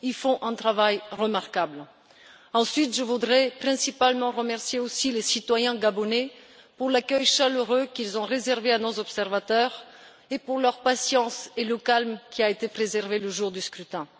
Ils font un travail remarquable. Ensuite, je voudrais principalement remercier les citoyens gabonais pour l'accueil chaleureux qu'ils ont réservé à nos observateurs, pour leur patience et pour le calme qui a été préservé le jour du scrutin.